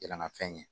Yɛlɛmafɛn ye